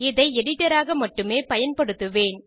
இதை எடிட்டர் ஆக மட்டுமே பயன்படுத்துவேன்